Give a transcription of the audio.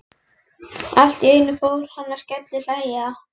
Allt í einu fór hann að skellihlæja.